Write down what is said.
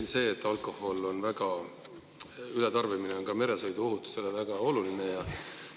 On selge, et alkoholi ületarbimine on ka meresõiduohutuse seisukohast väga oluline.